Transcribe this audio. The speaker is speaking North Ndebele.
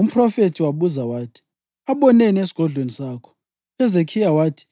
Umphrofethi wabuza wathi: “Aboneni esigodlweni sakho?” UHezekhiya wathi,